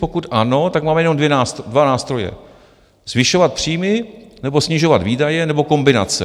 Pokud ano, tak máme jenom dva nástroje: zvyšovat příjmy nebo snižovat výdaje nebo kombinace.